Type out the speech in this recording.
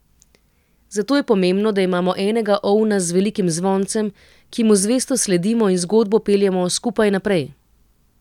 Zato je pomembno, da imamo enega ovna z velikim zvoncem, ki mu zvesto sledimo in zgodbo peljemo skupaj naprej.